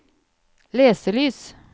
leselys